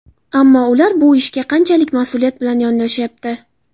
Ammo ular bu ishga qanchalik mas’uliyat bilan yondashayapti?